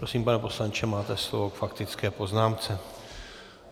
Prosím, pane poslanče, máte slovo k faktické poznámce.